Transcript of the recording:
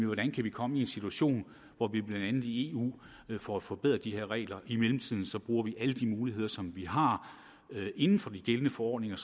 hvordan kan vi komme i en situation hvor vi blandt andet i eu får forbedret de her regler i mellemtiden så bruge alle de muligheder som vi har inden for de gældende forordninger